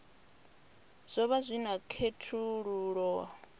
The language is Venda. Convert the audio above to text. zwo vha zwi na khethululoe